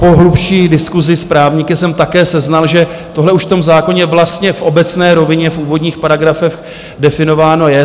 Po hlubší diskusi s právníky jsem také seznal, že tohle už v tom zákoně vlastně v obecné rovině v úvodních paragrafech definováno je.